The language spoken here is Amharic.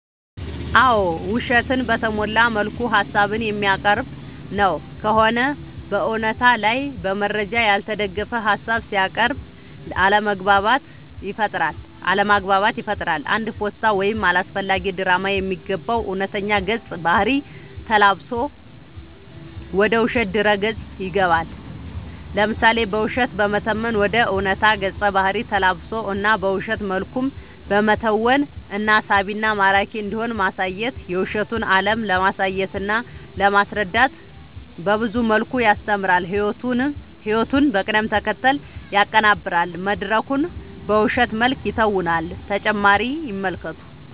አዎ ውሸትን በተሞላ መልኩ ሀሳብን የሚያቀርብ ነው ከሆነ በእውነታ ላይ በመረጃ ያልተደገፈ ሀሳብ ሲያቅርብ አለማግባባት ይፈጥራል አንድ ፓስታ ወደ አላስፈላጊ ድራማ የሚገባው እውነተኛ ገፀ ባህርይ ተላብሶ ወደ ውሸት ድረ ገፅ ይገባል። ለምሳሌ በውሸት በመተወን ወደ ዕውነታ ገፀ ባህሪ ተላብሶ እና በውሸት መልኩም በመተወን እና ሳቢና ማራኪ እንዲሆን ማሳየት የውሸቱን አለም ለማሳየትና ለማስረዳት በብዙ መልኩ ያስተምራል ህይወቱን በቅደም ተከተል ያቀናብራል መድረኩን በውሸት መልክ ይተውናል።…ተጨማሪ ይመልከቱ